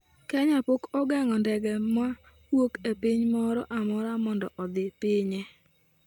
Kenya pok ogeng'o ndege ma wuok e piny moro amora mondo odhi pinye